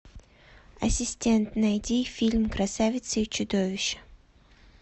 ассистент найди фильм красавица и чудовище